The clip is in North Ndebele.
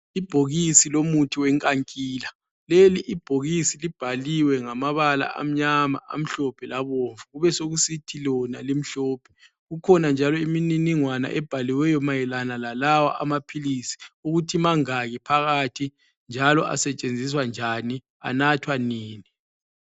Ibhokisi lomuthi wenkankila, leli ibhokisi libhaliwe ngamabala amnyama amhlophe labomvu labomvu. Kubesekusithi lona limhlophe. Kukhona njalo imniningwana ebhaliweyo mayelana lalawa amaphilisi ukuthi mangaki phakathi njalo asetshenziswa njani anathwa nini.